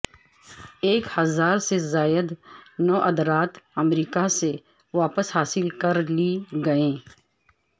ایک ہزار سے زائد نوادرات امریکہ سے واپس حاصل کر لی گئیں